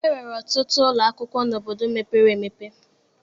E nwere ọtụtụ ụlọ akwụkwọ n'obodo mepere emepe